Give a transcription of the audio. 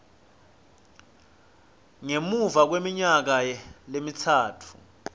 ngemuva kweminyaka lemitsatfu